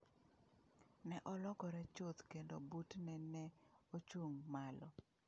Ne olokore chuth kendo butne ne ochung’ malo.